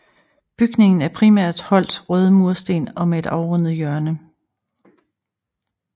Bygningen er primært holdt røde mursten og med et afrundet hjørne